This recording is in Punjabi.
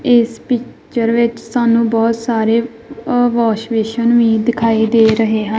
ਇਸ ਪਿੱਚਰ ਵਿੱਚ ਸਾਨੂੰ ਬਹੁਤ ਸਾਰੇ ਅ ਵਾਸ਼ ਬੇਸ਼ਨ ਵੀ ਦਿਖਾਈ ਦੇ ਰਹੇ ਹਨ।